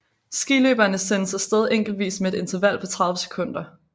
Skiløberne sendes af sted enkeltvis med et interval på 30 sekunder